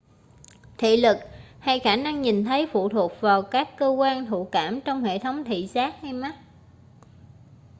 thị lực hay khả năng nhìn thấy phụ thuộc vào các cơ quan thụ cảm trong hệ thống thị giác hay mắt